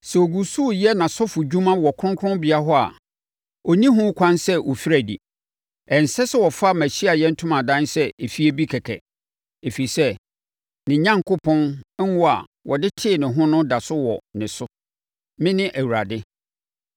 Sɛ ɔgu so reyɛ nʼasɔfodwuma wɔ kronkronbea hɔ a, ɔnni ho kwan sɛ ɔfiri adi. Ɛnsɛ sɛ ɔfa mʼAhyiaeɛ Ntomadan sɛ efie bi kɛkɛ, ɛfiri sɛ, ne Onyankopɔn ngo a wɔde tee ne ho no da so wɔ ne so. Mene Awurade.